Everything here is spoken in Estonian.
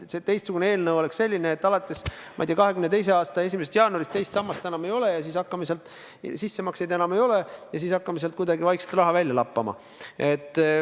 See teistsugune eelnõu oleks selline, et alates, ma ei tea, 2022. aasta 1. jaanuarist teist sammast enam ei ole, sissemakseid enam ei ole ja me hakkame sealt kuidagi vaikselt raha välja lappama.